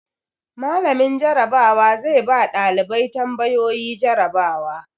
Mallamin Jarabawa zai ba ɗalibai tambayoyi jarabawa.